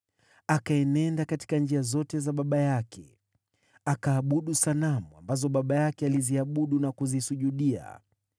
Akaenenda katika njia zote za baba yake, akaabudu sanamu ambazo baba yake aliziabudu na kuzisujudia.